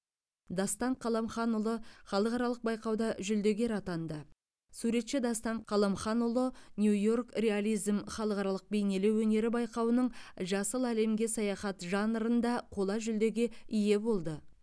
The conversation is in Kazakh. дастан қаламханұлы халықаралық байқауда жүлдегер атанды суретші дастан қаламханұлы нью йорк реализм халықаралық бейнелеу өнері байқауының жасыл әлемге саяхат жанрында қола жүлдеге ие болды